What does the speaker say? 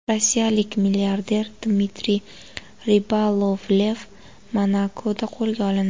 Rossiyalik milliarder Dmitriy Ribolovlev Monakoda qo‘lga olindi.